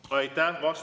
Aitäh!